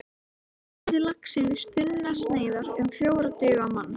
Skerið laxinn í þunnar sneiðar, um fjórar duga á mann.